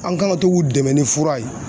An kan ka to k'u dɛmɛ ni fura ye